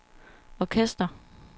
orkester